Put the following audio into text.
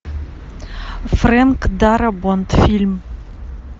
френк дарабонт фильм